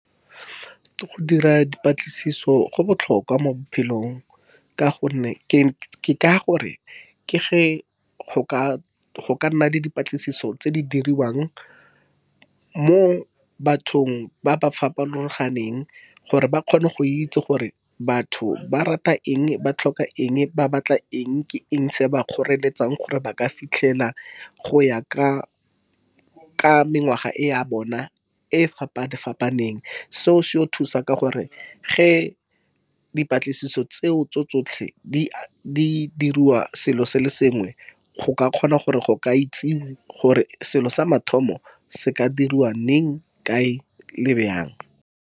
Go dira dipatlisiso go botlhokwa mo bophelong, ka gonne ke ka gore ke ge go ka nna le dipatlisiso tse di diriwang mo bathong ba ba farologaneng, gore ba kgone go itse gore batho ba rata eng, ba tlhoka eng, ba batla eng, ke eng se se ba kgoreletsang gore ba ka fitlhela. Go ya ka mengwaga e ya bona e fapane-fapaneng, seo se thusa ka gore ge dipatlisiso tseo tse tsotlhe di diriwa selo se le sengwe, go ka kgona gore go ka itsewe gore selo sa mathomo se ka diriwa leng kae le bjang.